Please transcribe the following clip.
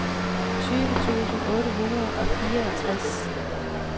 tyve tusind otte hundrede og fireogtres